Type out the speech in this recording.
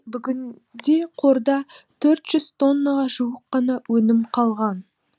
бүгінде қорда төрт жүз тоннаға жуық қана өнім қалған